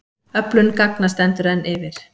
Öflun gagna stendur enn yfir.